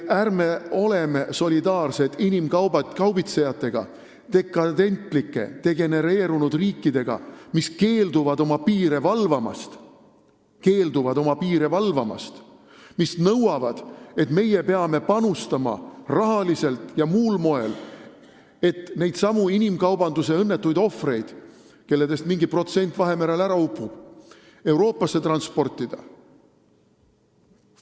Ärme oleme solidaarsed inimkaubitsejatega, dekadentlike degenereerunud riikidega, kes keelduvad oma piire valvamast ja nõuavad, et meie peame panustama rahaliselt ja muul moel, et neidsamu inimkaubanduse ohvreid, kellest mingi protsent Vahemerel ära upub, Euroopasse transportida.